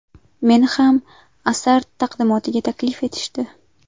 Meni ham asar taqdimotiga taklif etishdi.